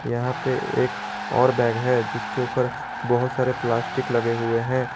यहां पर एक और बैग दिख है जिसके ऊपर बहुत सारे प्लास्टिक लगे हुए हैं।